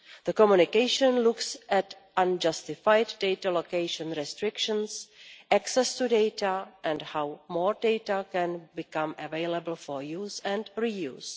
The Communication looks at unjustified data location restrictions, access to data and how more data can become available for use and reuse.